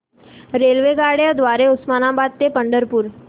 रेल्वेगाड्यां द्वारे उस्मानाबाद ते पंढरपूर